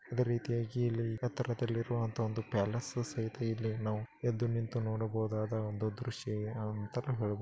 ಇದೆ ರೀತಿಯಾಗಿ ಇಲ್ಲಿ ಎತ್ತರದಲ್ಲಿ ಇರುವಂತ ಇಲ್ಲಿ ಪ್ಯಾಲೇಸ್ ಸಹಿತ ಇಲ್ಲಿ ನಾವು ಎದ್ದು ನಿಂತು ನೋಡಬಹುದಾದ ಒಂದು ದೃಶ್ಯ ಅಂತಾನೂ ಹೇಳಬಹುದು --